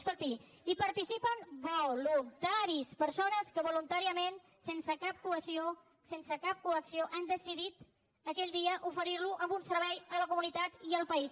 escolti hi participen voluntaris persones que voluntàriament sense cap coacció sense cap coacció han decidit aquell dia oferirlo a un servei a la comunitat i al país